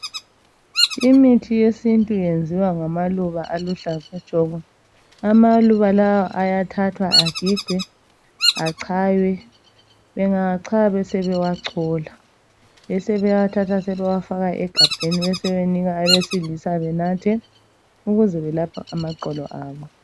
Imithi yesintu yenziwa ngamaluba aluhlaza tshoko. Amaluba lawa ayathathwa agigwe achaywe . Bengawachaya besebewachola. Besebewathatha bewafaka egabheni besebewanika abesilisa benathe ukuze belaphe amaqolo abo.